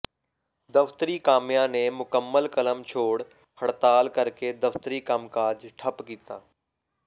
ਦਫ਼ਤਰੀ ਕਾਮਿਆਂ ਨੇ ਮੁਕੰਮਲ ਕਲਮ ਛੋੜ ਹੜਤਾਲ ਕਰਕੇ ਦਫ਼ਤਰੀ ਕੰਮ ਕਾਜ ਠੱਪ ਕੀਤਾ